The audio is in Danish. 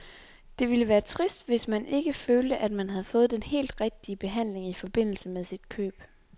Det ville være trist, hvis man ikke følte, at man havde fået den helt rigtige behandling i forbindelse med sit køb.